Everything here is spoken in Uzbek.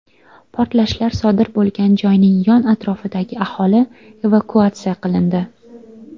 Portlashlar sodir bo‘lgan joyning yon atrofidagi aholi evakuatsiya qilindi.